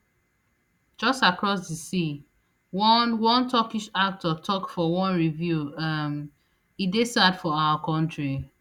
[just across di sea] one one turkish actor tok for one review um e dey sad for our kontri